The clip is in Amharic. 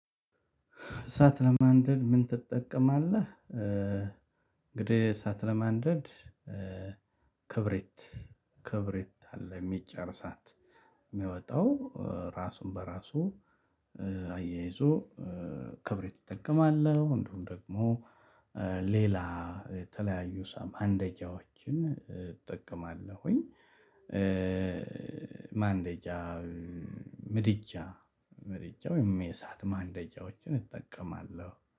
እሳት ለማንደድ ምን ትጠቀማለህ? እንግዲህ እሳት ለማንደድ። ክብሪት ክብሪት አለ የሚጫር እሳት የሚወጣው ራሱን በራሱ አያይዞ ክብሪት እጠቀማለሁ። እንዲሁም ደግሞ ሌላ የተለያዩ ሳም ማንደጃዎችን እጠቀማለሁኝ። ማንደጃ ምድጃ ምድጃ ወይም የእሳት ማንደጃዎችን እጠቀማለሁ